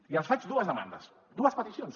i els faig dues demandes dues peticions